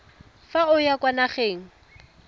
fa o ya kwa nageng